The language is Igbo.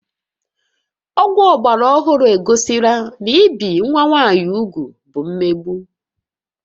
Ọgwụ ọgbara ọhụrụ egosila na ibi nwa nwaanyị úgwù bụ mmegbu